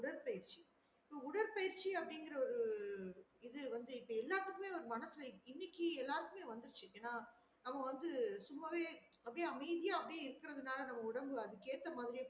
உடற்பயிற்சி உடற்பயிற்சி அப்டிகுற ஒரு இது வந்து இப்ப எல்லாத்துக்குமே ஒரு மனசுல இன்னெக்கு எல்லார்க்குமே வந்துருச்சு ஏன்னா நம்ம வந்து சும்மா வே அப்டியே அமைதியா அப்டியே இருக்குறதுனால நம்ம உடம்பு அதுக்கு ஏத்த மாறியே